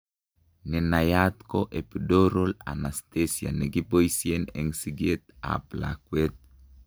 Nenaiyat ko epidural anasthesia nekiboisien eng' sikeet ab lakwet